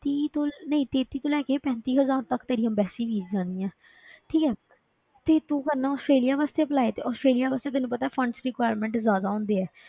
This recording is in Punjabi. ਤੀਹ ਤੋਂ ਨਹੀਂ ਤੇਤੀ ਤੋਂ ਲੈ ਕੇ ਪੈਂਤੀ ਹਜ਼ਾਰ ਤੱਕ ਤੇਰੀ embassy fees ਜਾਣੀ ਹੈ ਠੀਕ ਹੈ ਤੇ ਤੂੰ ਕਰਨਾ ਆਸਟ੍ਰੇਲੀਆ ਵਾਸਤੇ apply ਤੇ ਆਸਟ੍ਰੇਲੀਆ ਵਾਸਤੇ ਤੈਨੂੰ ਪਤਾ ਹੈ funds requirement ਜ਼ਿਆਦਾ ਹੁੰਦੀ ਹੈ,